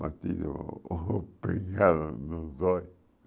Batido ou pegado nos olhos.